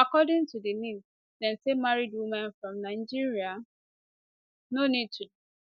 according to di nis dem say married women from nigeria no need to